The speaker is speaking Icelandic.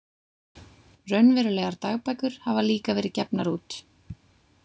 Raunverulegar dagbækur hafa líka verið gefnar út.